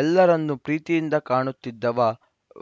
ಎಲ್ಲರನ್ನು ಪ್ರೀತಿಯಿಂದ ಕಾಣುತ್ತಿದ್ದವ